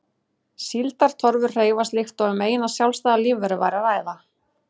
Síldartorfur hreyfast líkt og um eina sjálfstæða lífveru væri að ræða.